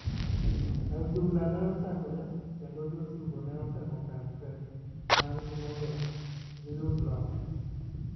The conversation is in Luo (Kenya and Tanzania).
Adhula ne ochakore kendo jotugo ne otemo kar teke mar gi mondo gi yudo loch